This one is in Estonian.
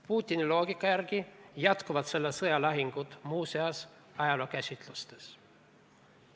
Putini loogika järgi jätkuvad selle sõja lahingud muu seas ajalookäsitustes.